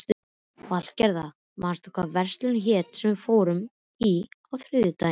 Valgerða, manstu hvað verslunin hét sem við fórum í á þriðjudaginn?